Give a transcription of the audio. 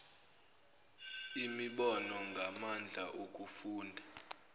imibono ngamandla okufunda